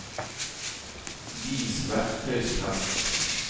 vis verktøysfelt